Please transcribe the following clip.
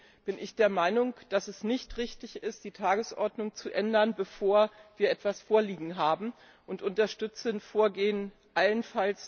Deswegen bin ich der Meinung, dass es nicht richtig ist, die Tagesordnung zu ändern, bevor wir etwas vorliegen haben, und dass wir allenfalls unterstützend vorgehen sollten.